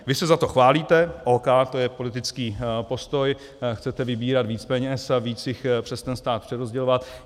Vy se za to chválíte, OK, to je politický postoj, chcete vybírat víc peněz a víc jich přes ten stát přerozdělovat.